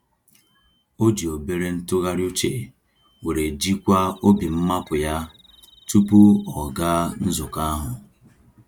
O ji obere ntụgharị uche were jikwaa obi mmapụ yá, tupu ọ gaa nzukọ ahụ.